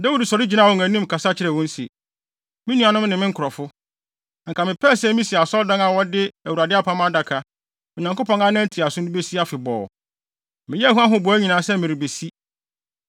Dawid sɔre gyinaa wɔn anim, kasa kyerɛɛ wɔn se, “Me nuanom ne me nkurɔfo, anka mepɛɛ sɛ misi asɔredan a wɔde Awurade Apam Adaka, Onyankopɔn anan ntiaso no besi afebɔɔ. Meyɛɛ ho ahoboa nyinaa sɛ mede rebesi,